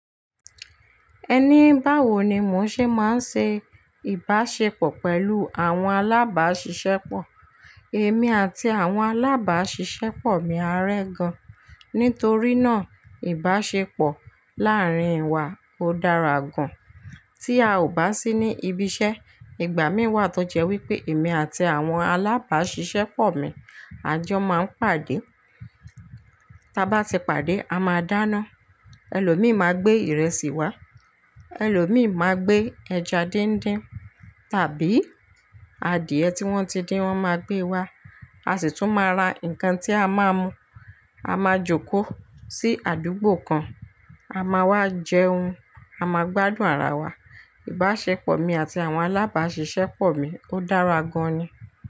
Ẹni bá wo ni mò ń ṣe máa ń ṣe ìbáṣepọ̀ pẹ̀lú àwọn alábáṣiṣẹ́pọ̀. Èmi àti àwọn alábáṣiṣẹ́pọ̀ mi á rẹ́ gan, nítorí náà ìbáṣepọ̀ láàárín wa ó dára gan. Tí a ò bá sí ní ibi iṣẹ́, ìgbà mí wà tó jẹ́ wípé èmi àti àwọn alábáṣiṣẹ́pọ̀ mi a jọ máa ń pàdé. Tí a bá ti pàdé, a máa dáná. Ẹlòmíì máa gbé ìrẹsì wá, ẹlòmíì máa gbé ẹja díndín tàbí adìẹ tí wọ́n ti dín wọ́n máa gbé wá, a sì tún máa ra nǹkan tí a máa mú. A máa jókòó sí àdúgbò kan, a máa wá jẹun, a máa gbádùn ara wa. Ìbáṣepọ̀ mi àti àwọn alábáṣiṣẹ́pọ̀ mi ó dára gan ni.